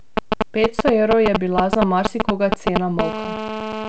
Petsto evrov je bila za marsikoga cena molka.